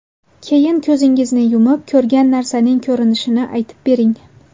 Keyin, ko‘zingizni yumib, ko‘rgan narsaning ko‘rinishini aytib bering.